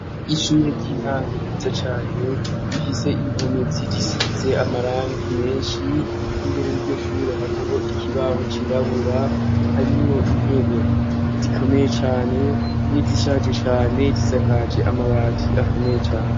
Ishure ry'intango ziza cane rifise impome zigishize amarangi menshi imbere ryo shure hariho ikibaho cirabura harimo intebe zikomeye cane n'izishaje cane risakaje amabaki akomeye cane.